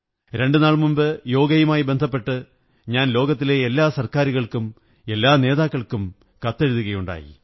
രണ്ടുനാൾ മുമ്പ് യോഗയുമായി ബന്ധപ്പെട്ട് ഞാൻ ലോകത്തിലെ എല്ലാ സര്ക്കാമരുകള്ക്കും എല്ലാ നേതാക്കള്ക്കും കത്തെഴുതുകയുണ്ടായി